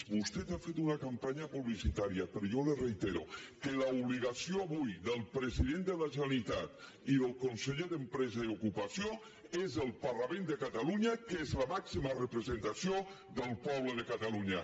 vostè ha fet una campanya publicitària però jo li reitero que l’obligació avui del president de la generalitat i del conseller d’empresa i ocupació és al parlament de catalunya que és la màxima representació del poble de catalunya